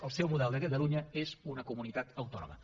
el seu model de catalunya és una comunitat autònoma